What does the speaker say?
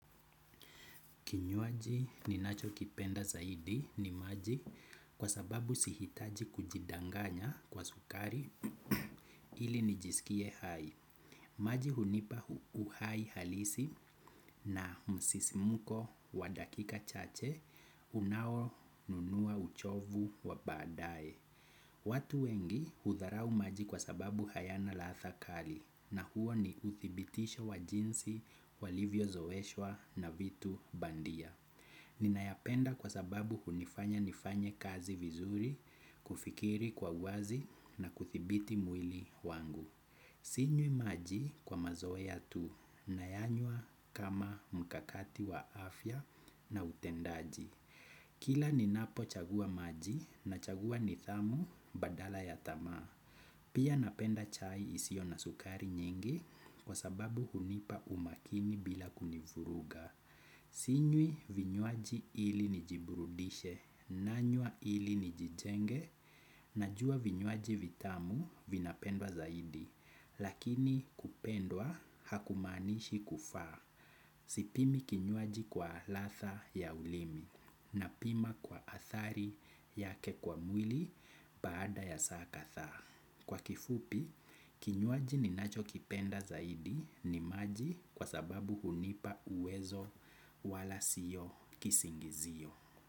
Kinywaji ninacho kipenda zaidi ni maji kwa sababu sihitaji kujidanganya kwa sukari ili nijisikie hai. Maji hunipa uhai halisi na msisimuko wa dakika chache unao nunua uchovu wa baadaye. Watu wengi hudharau maji kwa sababu hayana ladha kali na huo ni uthibitisho wa jinsi walivyo zoeshwa na vitu bandia. Ninayapenda kwa sababu hunifanya nifanye kazi vizuri, kufikiri kwa wazi na kudhibiti mwili wangu. Sinywi maji kwa mazoea tu, nayanywa kama mkakati wa afya na utendaji. Kila ninapo chagua maji na chagua nidhamu badala ya tamaa. Pia napenda chai isiyo na sukari nyingi kwa sababu hunipa umakini bila kunivuruga. Sinywi vinywaji ili nijiburudishe, nanywa ili nijitenge, najua vinywaji vitamu vinapendwa zaidi, lakini kupendwa hakumaanishi kufaa. Sipimi kinywaji kwa ladha ya ulimi, na pima kwa athari ya kikwa mwili baada ya saa kadhaa. Kwa kifupi, kinywaji ninacho kipenda zaidi ni maji kwa sababu hunipa uwezo wala sio kisingizio.